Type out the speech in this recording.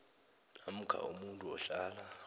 namkha umuntu ohlala